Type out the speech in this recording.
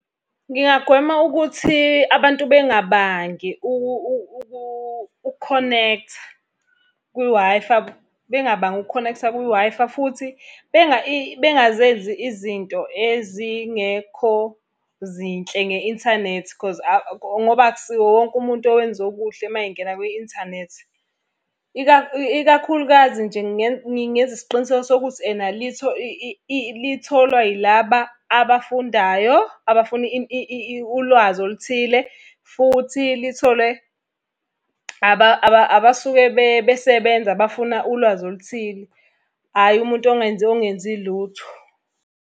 Ngingagwema ukuthi abantu bengabangi ukukhonektha kwi-Wi-Fi, bengabangi ukukhonektha kwi-Wi-Fi futhi bengazenzi izinto ezingekho zinhle nge-inthanethi cause ngoba akusiwo wonke umuntu owenza okuhle uma engena kwi-inthanethi. Ikakhulukazi nje ngingenza isiqiniseko sokuthi litholwa yilaba abafundayo, abafuna ulwazi oluthile, futhi litholwe abasuke besebenza abafuna ulwazi oluthile. Hhayi umuntu ongenzi lutho.